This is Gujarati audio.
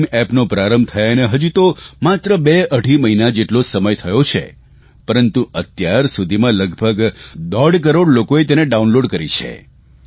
ભીમ એપનો પ્રારંભ થયાને હજું તો માત્ર બેઅઢી મહિના જેટલો સમય જ થયો છે પરંતુ અત્યારસુધીમાં લગભગ દોઢ કરોડ લોકોએ તેને ડાઉનલોડ કરી છે